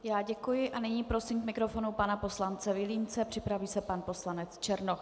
Já děkuji a nyní prosím k mikrofonu pana poslance Vilímce, připraví se pan poslanec Černoch.